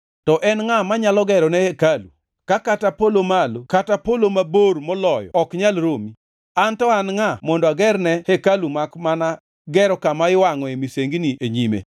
To en ngʼa manyalo gerone hekalu, ka kata polo malo kata polo mabor moloyo ok nyal romi? An to an ngʼa mondo agerne hekalu makmana gero kama iwangʼoe misengini e nyime?